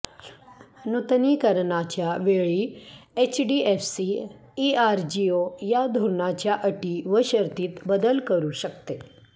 नूतनीकरणाच्या वेळी HDFC ERGO या धोरणाच्या अटी व शर्तीत बदल करू शकते